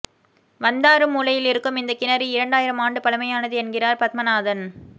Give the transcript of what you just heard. வந்தாறு மூலையில் இருக்கும் இந்த கிணறு இரண்டாயிரம் ஆண்டு பழமையானது என்கிறார் பத்மநாதன்